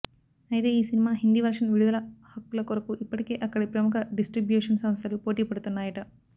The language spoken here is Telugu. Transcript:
అయితే ఈ సినిమా హిందీ వర్షన్ విడుదల హక్కుల కొరకు ఇప్పటికే అక్కడి ప్రముఖ డిస్ట్రిబ్యూషన్ సంస్థలు పోటీ పడుతున్నాయట